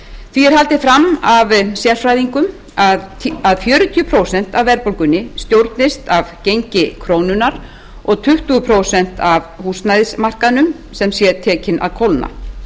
því er haldið fram af sérfræðingum að fjörutíu prósent af verðbólgunni stjórnist af gengi krónunnar og tuttugu prósent af húsnæðismarkaðnum sem sé tekinn að kólna